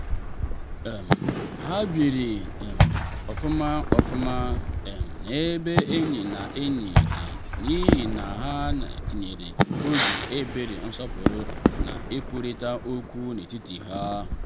um ha biri um ofuma ofuma um n’ebe enyi na enyi dị n’ihi na ha tinyere obi ebere nsọpụrụ na ikwurịta okwu n’etiti ha.